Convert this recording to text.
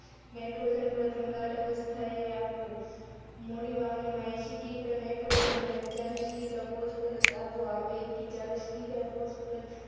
Nitrogen પ્રથમ ઘાટ અવસ્થાએ આપવું મોડી વાવડીમાં એશિ કિગ્રા નાઇટ્રોજન અને ચાલીસ કિગ્રા phosphorus આપવું. આ પૈકી ચાલીસ કિગ્રા phosphorus